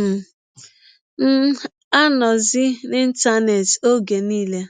um m anọzi n’Ịntanet ọge niile.